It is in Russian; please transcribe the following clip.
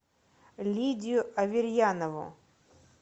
лидию аверьянову